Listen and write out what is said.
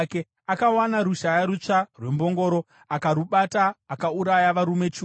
Akawana rushaya rutsva rwembongoro, akarubata akauraya varume chiuru.